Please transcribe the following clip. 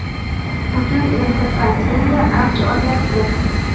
Bugun endi pandemiya avj olyapti.